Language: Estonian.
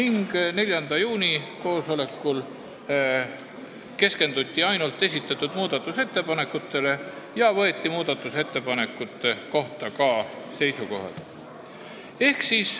4. juuni koosolekul keskenduti ainult esitatud muudatusettepanekutele ja võeti nende kohta ka seisukoht.